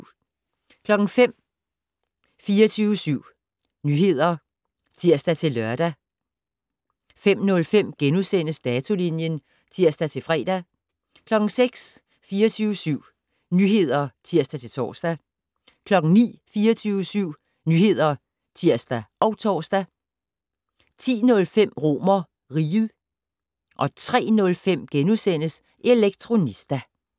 05:00: 24syv Nyheder (tir-lør) 05:05: Datolinjen *(tir-fre) 06:00: 24syv Nyheder (tir-tor) 09:00: 24syv Nyheder (tir og tor) 10:05: RomerRiget 03:05: Elektronista *